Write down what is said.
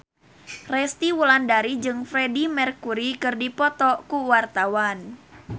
Resty Wulandari jeung Freedie Mercury keur dipoto ku wartawan